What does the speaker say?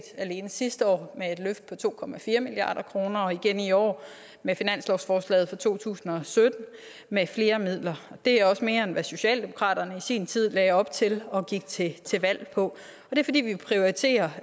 alene sidste år med et løft på to milliard kroner og igen i år med finanslovsforslaget for to tusind og sytten med flere midler det er også mere end hvad socialdemokratiet i sin tid lagde op til og gik til til valg på det er fordi vi prioriterer